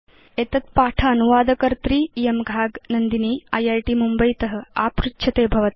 एतत् पाठ अनुवादकर्त्री इयं घाग नन्दिनी इत् मुम्बयीत आपृच्छते भवत